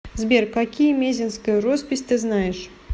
сбер какие мезеньская роспись ты знаешь